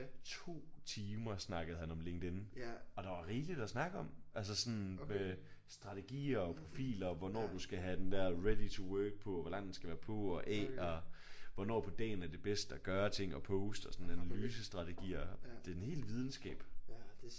2 timer snakkede han om LinkedIn. Og der var rigeligt at snakke om. Altså sådan med strategier og profiler hvornår du skal have den der ready to work på hvor lang den skal være på og af og hvornår på dagen er det bedst at gøre ting og poste og sådan analysestrategier. Det er en hel videnskab